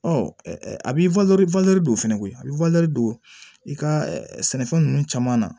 Ɔ a bɛ don fɛnɛ koyi a bɛ don i ka sɛnɛfɛn ninnu caman na